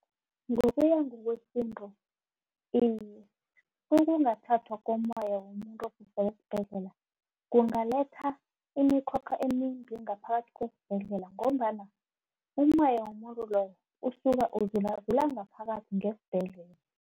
Ngokuya ngokwesintu iye, ukungathathwa kommoya womuntu ukusuka esibhedlela kungalethela imikhokha emimbi ngaphakathi kwesibhedlela ngombana umoya womuntu loyo usuka uzulazula ngaphakathi ngesibhedlela.